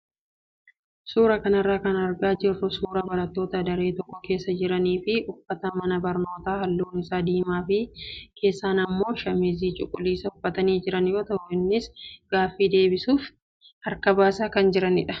Suuraa kana irraa kan argaa jirru suuraa barattoota daree tokko keessa jiranii fi uffata mana barnootaa halluun isaa diimaa fi keessaan immoo shaamizii cuquliisa uffatanii jiran yoo ta'u, isaanis gaaffii deebisuuf harka baasaa jiru.